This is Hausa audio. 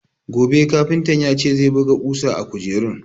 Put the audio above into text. Gobe kafintan ya ce zai buga ƙusa a kujerun.